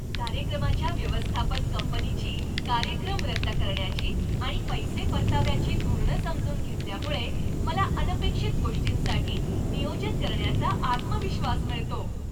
कार्यक्रमाच्या व्यवस्थापन कंपनीची कार्यक्रम रद्द करण्याची आणि पैसे परताव्याची धोरणं समजून घेतल्यामुळे मला अनपेक्षित गोष्टींसाठी नियोजन करण्याचा आत्मविश्वास मिळतो.